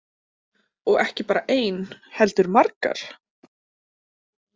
Og ekki bara ein, heldur margar?